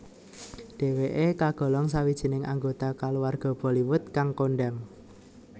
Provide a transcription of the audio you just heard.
Dheweke kagolong sawijining anggota kaluwarga Bollywood kang kondhang